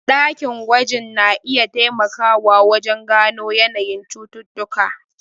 Dakin gwajin na iya taimakawa wajen gano yanayin cututtuka.